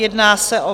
Jedná se o